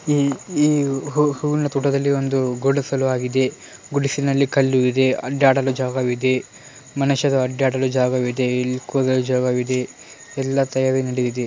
ಏ ಏವ್ ಹೂವು ಹೂವಿನ ತೋಟದಲ್ಲಿ ಒಂದು ಗೂಡಿಸಲು ಆಗಿದೆ ಗುಡುಸಿಲಿನಲ್ಲಿ ಕಲ್ಲು ಇದೆ ಅಡ್ಡಾಡಲ್ಲು ಜಾಗವಿದೆ ಮನಷ್ಯ ಅಡ್ಡಾಡಲ್ಲು ಜಾಗವಿದೆ ಇಲ್ಲಿ ಕುಲ ಜಾಗವಿದೆ ಎಲ್ಲಾ ತಗಡಿನಡೆ.